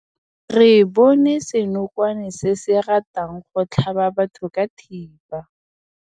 Re bone senokwane se se ratang go tlhaba batho ka thipa.